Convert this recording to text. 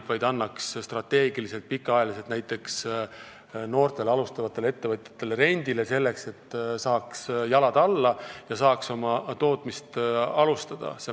Ta võiks anda maad strateegiliselt, pikaajaliselt rendile näiteks noortele alustavatele ettevõtjatele, selleks et nad saaks jalad alla ja oma tootmist alustada.